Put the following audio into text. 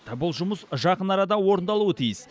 бұл жұмыс жақын арада орындалуы тиіс